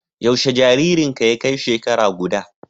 Yaushe jaririnka ya kai shekara guda?